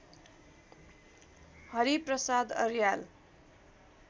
Hari Prasad Aryal